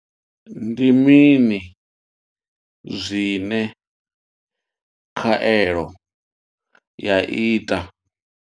Ndi mini zwine khaelo ya ita.